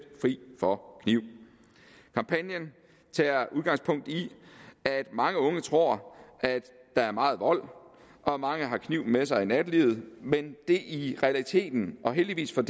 fri for kniv kampagnen tager udgangspunkt i at mange unge tror at der er meget vold og mange har kniv med sig i nattelivet men det er i realiteten og heldigvis for